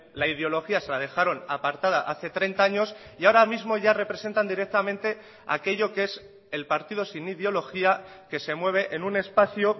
la ideología se la dejaron apartada hace treinta años y ahora mismo ya representan directamente aquello que es el partido sin ideología que se mueve en un espacio